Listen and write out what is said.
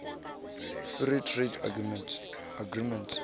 free trade agreement